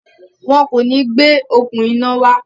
Wọn kò ní gbé “okùn iná” wá.